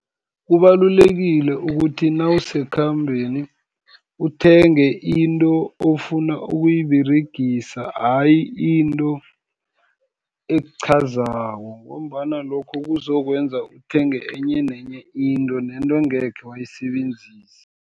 Kubalulekile ukuthi nawusekhambeni, uthenge into ofuna ukuyiberegisa, ayi into ekuqhazako, ngombana lokho kuzokwenza uthenge enye nenye into, nento engekhe wayisebenzisa.